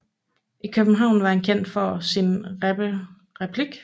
I København var han kendt for sin rappe replik